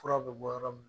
Fura bɛ bɔ yɔrɔ min na